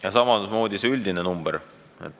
Ja samamoodi tekitab küsimust see üldine number.